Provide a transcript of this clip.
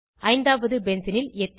ஐந்தாவது பென்சீனில் எத்தில்